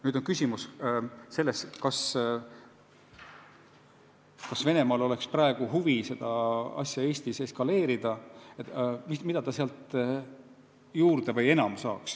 Nüüd on küsimus selles, kas Venemaal on praegu huvi olukorda Eestis eskaleerida: mis kasu ta sellest saaks?